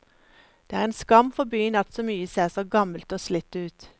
Det er en skam for byen at mye ser så gammelt og slitt ut.